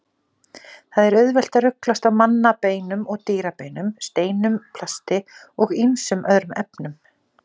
Það er auðvelt að ruglast á mannabeinum og dýrabeinum, steinum, plasti og ýmsum öðrum efnum.